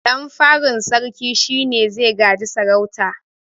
Ɗan farin sarkin shine zai gaji sarauta